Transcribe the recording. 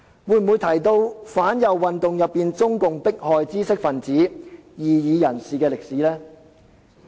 會否提到中共在反右運動中迫害知識分子和異議人士的歷史？